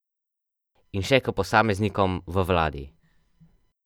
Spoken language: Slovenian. In še k posameznikom v vladi.